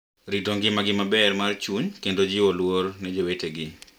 Rit ngimagi maber mar chuny kendo jiwo luor ne jowetegi.